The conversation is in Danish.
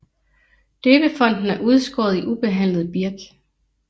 Døbefonten er udskåret i ubehandlet birk